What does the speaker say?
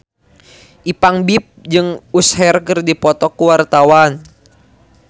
Ipank BIP jeung Usher keur dipoto ku wartawan